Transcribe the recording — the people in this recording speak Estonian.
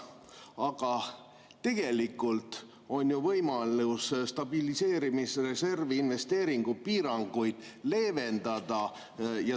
Aga tegelikult on ju võimalus stabiliseerimisreservi investeeringupiiranguid leevendada.